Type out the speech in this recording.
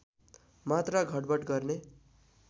मात्रा घटबढ गर्ने